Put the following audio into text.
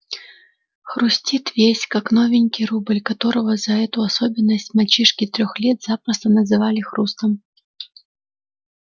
хрустит весь как новенький рубль которого за эту особенность мальчишки трёх лет запросто называли хрустом